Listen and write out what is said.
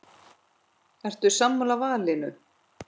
Ertu sammála valinu?